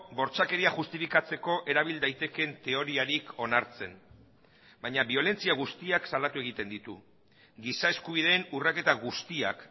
bortzakeria justifikatzeko erabil daitekeen teoriarik onartzen baina biolentzia guztiak salatu egiten ditu giza eskubideen urraketa guztiak